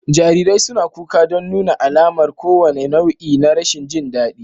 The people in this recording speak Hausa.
Jarirai suna kuka don nuna alamar kowane nau'i na rashin jin daɗi